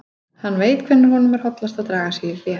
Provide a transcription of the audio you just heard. Hann veit hvenær honum er hollast að draga sig í hlé.